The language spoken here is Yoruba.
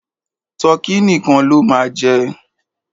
Tọkí nìkan ló máa jẹ.